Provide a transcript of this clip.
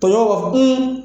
Tɔɲɔnw b'a fɔ